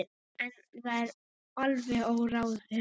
En það er alveg óráðið.